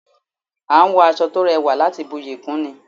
A n wọ aṣọ to rẹwà láti buyi kún ni